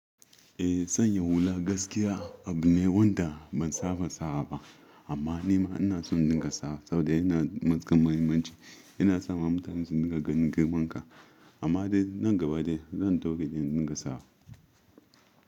Eh san ya hula gaskiya abu ne wanda ban saba sawa ba amma nima ina son in dinga sawa saboda yana matukar muhimmanci yana sa mutane su dinga ganin girmanka amma dai nan gaba de zan daure in dinga sawa.